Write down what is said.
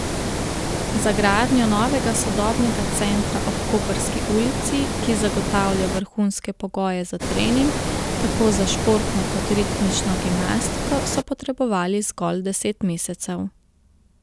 Za gradnjo novega sodobnega centra ob Koprski ulici, ki zagotavlja vrhunske pogoje za trening tako za športno kot ritmično gimnastiko, so potrebovali zgolj deset mesecev.